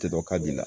Tɛ dɔn ka bin na